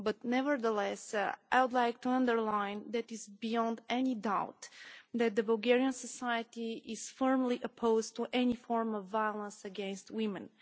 Nevertheless, I would like to underline that it is beyond any doubt that Bulgarian society is firmly opposed to any form of violence against women.